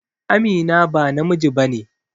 Amina ba namiji ba ne.